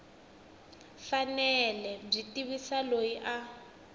fanele byi tivisa loyi a